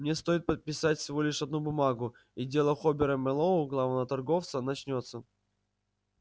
мне стоит подписать всего лишь одну бумагу и дело хобера мэллоу главного торговца начнётся